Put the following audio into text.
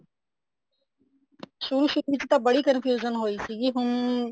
ਸ਼ੁਰੂ ਸ਼ੁਰੂ ਚ ਤਾਂ ਬੜੀ confusion ਹੋਈ ਸੀਗੀ ਹੁਣ